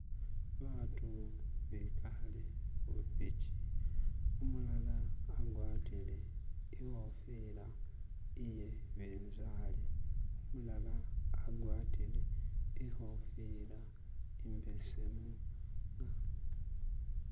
batu behale hupichi umulala agwatile ihofila iyebinzali mulala agwatile ihofila imbesemu